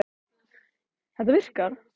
Frá þessu var greint í Morgunblaðinu í morgun.